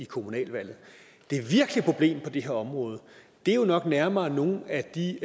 kommunalvalget det virkelige problem på det her område er jo nok nærmere nogle af de